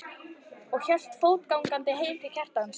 og hélt fótgangandi heim til Kjartans.